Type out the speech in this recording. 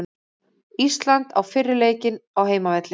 Ísland á fyrri leikinn á heimavelli